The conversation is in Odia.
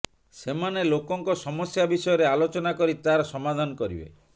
ସେମାନେ ଲୋକଙ୍କ ସମସ୍ୟା ବିଷୟରେ ଆଲୋଚନା କରି ତାର ସମାଧାନ କରିବେ